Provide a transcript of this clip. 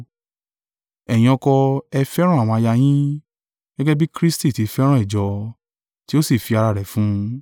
Ẹ̀yin ọkọ, ẹ fẹ́ràn àwọn aya yín, gẹ́gẹ́ bí Kristi tí fẹ́ràn ìjọ, tí ó sì fi ara rẹ̀ fún un.